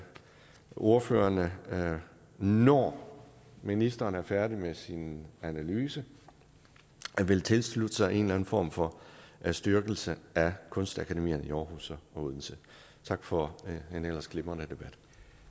ordførerne når ministeren er færdig med sin analyse vil tilslutte sig en eller anden form for styrkelse af kunstakademierne i aarhus og odense tak for en ellers glimrende debat